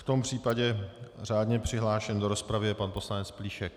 V tom případě řádně přihlášen do rozpravy je pan poslanec Plíšek.